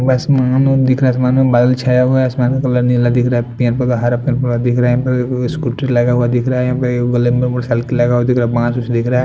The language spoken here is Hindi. दिख रहा है आसमान में बादल छाए हुआ हैं आसमान क क कलर नीला दिख रहा है पेड़ पौधा हरा पेड़ पौधा दिख रहे है यहाँं पर स्कूटी लगाए हुआ दिख रहा यहाँं पर ग्लैमबर मोटरसाइकिल लगा हुआ दिख रहा बांस उस दिख रहा --